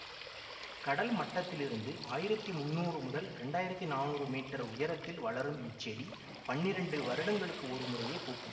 கடல் மட்டத்திலிருந்து ஆயிரத்தி முன்னூறு முதல் இரண்டாயிரத்தி நானூறு மீட்டர் உயரத்தில் வளரும் இச்செடி பன்னிரண்டு வருடங்களுக்கு ஒரு முறையே பூக்கும்